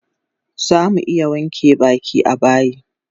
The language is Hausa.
Zamu iya wanke baki a bayi